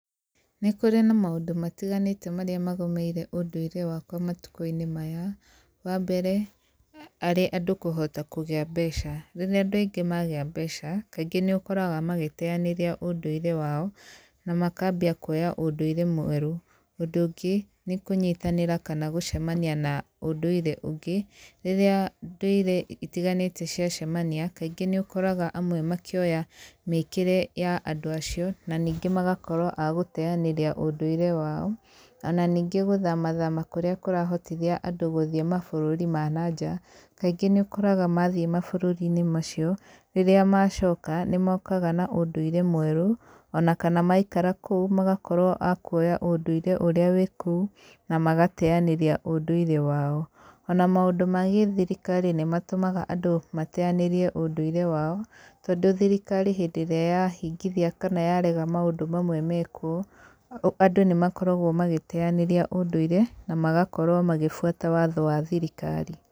Nĩ kũrĩ na maũndũ matiganĩte marĩa magomeire ũndũire wakwa matukũ-inĩ maya, wa mbere arĩ andũ kũhota kũgĩa mbeca. Rĩrĩa andũ aingĩ magĩa mbeca, kaingĩ nĩ ũkoraga magĩteanĩria ũndũire wao, na makambia kuoya ũndũire mwerũ. Ũndũ ũngĩ, nĩ kũnyitanĩra kana gũcemania na ũndũire ũngĩ. Rĩrĩa ndũire itiganĩte cia cemania, kaingĩ nĩ ũkoraga amwe makĩoya mĩkĩre ya andũ acio na ningĩ magakorwo a gũteanĩria ũndũire wao, ona ningĩ gũthama thama kũrĩa kũrahotithia andũ gũthiĩ mabũrũri ma na nja, kaingĩ nĩ ũkoraga mathiĩ mabũrũri-inĩ macio, rĩrĩa macoka nĩ mokaga na ũndũire mwerũ ona kana maikara kũu magakorwo a kuoya ũndũire ũrĩa wĩ kũu na magateanĩria ũndũire wao. Ona maũndũ ma gĩthirikari nĩ matũmaga andũ mateanĩrie ũndũire wao, tondũ thirikari hĩndĩ ĩrĩa yahingithia kana yarega maũndũ mamwe mekwo, andũ nĩ makoragwo magĩteanĩria ũndũire, na magakorwo magĩbuata watho wa thirikari.